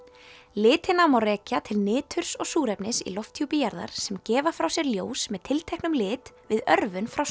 litina má rekja til niturs og súrefnis í lofthjúpi jarðar sem gefa frá sér ljós með tilteknum lit við örvun frá